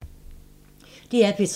DR P3